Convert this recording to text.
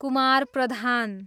Kumar Pradhan